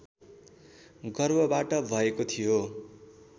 गर्भबाट भएको थियो